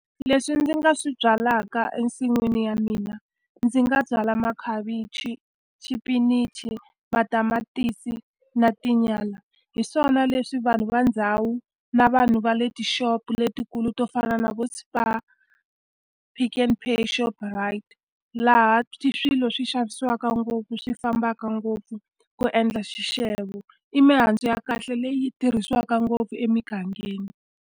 Leswi ndzi nga swi byalaka ensin'wini ya mina, ndzi nga byala makhavichi, xipinichi, matamatisi, na tinyala. Hi swona leswi vanhu va ndhawu na vanhu va le tixopo letikulu to fana na vo Spar, Pick n Pay, Shoprite, laha swilo swi xavisiwaka ngopfu swi fambaka ngopfu ku endla xixevo. I mihandzu ya kahle leyi tirhisiwaka ngopfu emigangeni.